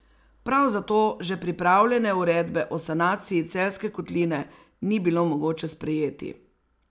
Prav zato že pripravljene uredbe o sanaciji Celjske kotline ni bilo mogoče sprejeti.